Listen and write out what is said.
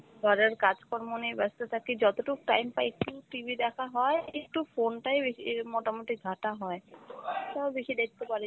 ঘরের কাজকর্ম নিয়ে ব্যস্ত থাকি যতটুক time পাই একটু TV দেখা হয়, একটু phone টাই বেশি ই~ মোটামুটি ঘাটা হয়, তাও বেশি দেখতে পারি না